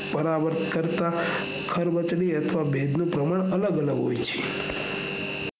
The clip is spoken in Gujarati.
પર્વત કરતા ખરબચલી અથવા ભેજનું પ્રમાણ અલગ અલગ હોય છે